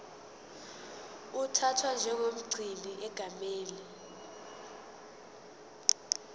uthathwa njengomgcini egameni